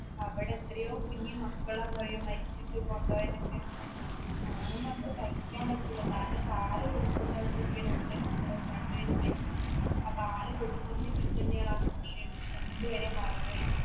അവിടെ എത്രയോ കുഞ്ഞുമക്കളാ മരിച്ചിട്ട് കൊണ്ടുപോയെതൊക്കെ. കാണുമ്പൊൾ മ്മ്ക് സഹിക്കാൻ പറ്റൂല്ല. കാരണം, പാലുകൊടുക്കുന്നവിടുന്നൊക്കെയാണ് ഉമ്മയും മക്കളും രണ്ടുപേരും മരിക്കുന്നെ. ആ പാല് കൊടുക്കുന്നതിൽ തന്നെയാണ് രണ്ടുപേരെയും മറവുചെയ്തത്.